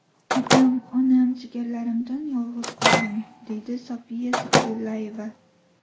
Otam-onam, jigarlarimdan yolg‘iz qoldim, deydi Sofiya Zikrillayeva.